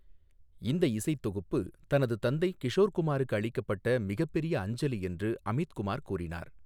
இந்த இசைத் தொகுப்பு தனது தந்தை கிஷோர் குமாருக்கு அளிக்கப்பட்ட மிகப்பெரிய அஞ்சலி என்று அமித் குமார் கூறினார்.